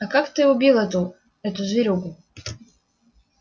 а как ты убил эту эту зверюгу